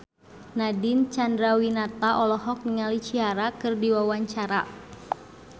Nadine Chandrawinata olohok ningali Ciara keur diwawancara